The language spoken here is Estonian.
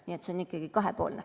Nii et see on ikkagi kahepoolne.